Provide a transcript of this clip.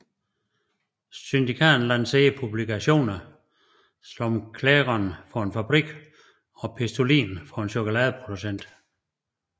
Syndikatet lancerede publikationer som Clairon for en fabrik og Pistolin for en chokoladeproducent